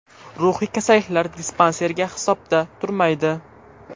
Ruhiy kasalliklar dispanseriga hisobda turmaydi.